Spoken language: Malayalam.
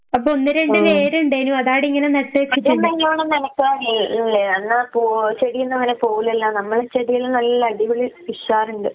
ആഹ് അത് നല്ലോണം നനച്ചാ മതി അന്നാ പോ ചെടിയൊന്നും അങ്ങനെ പോവൂല്ലല്ലോ നമ്മളെ ചെടിയെല്ലാം നല്ല അടിപൊളി ഉഷാറുണ്ട്.